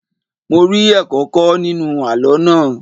Mo rí ẹ̀kọ́ kọ́ nínú àlọ́ náà.